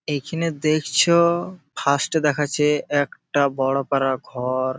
এইখানে দেখছো-ও ফার্স্টে দেখাচ্ছে একটা বড় পাড়া ঘর।